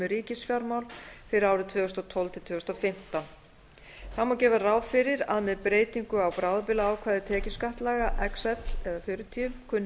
um ríkisfjármála fyrir árin tvö þúsund og tólf til tvö þúsund og fimmtán þá má gera ráð fyrir að með breytingu bráðabirgðaákvæðis tekjuskattslaga xl eða fjörutíu kunni